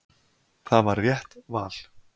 Það var rétt val.